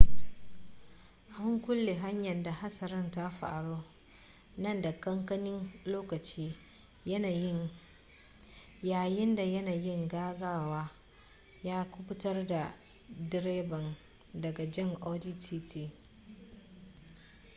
an kulle hanyar da hatsarin ta faru na dan kankanin lokaci yayinda yanayin gaggawa ya kubutar da direban daga jan audi tt